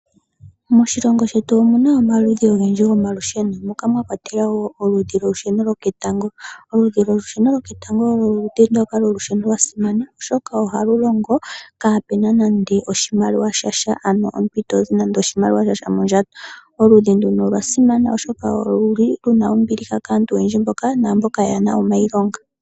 Moshilongo shetu omu na omaludhi ogendji gomalusheno, moka mwa kwatelwa wo oludhi lwolusheno lwoketango. Oludhi lwolusheno lwoketango olwo oludhi ndoka lwolusheno lwa simana, oshoka ohalu longo, kaapu na nande oshimaliwa sha sha, ano omuntu ito zi nando oshimaliwa sha sha mondjato. Oludhi nduno olwa simana, oshoka olwo lu li lu na ombiliha kaantu oyendji naamboka yaa na omailonga.